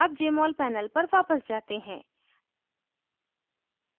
अब jmol panel पर वापस जाते हैं